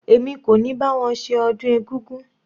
Èmi kò ní bá wọn ṣe ọdún egúngún.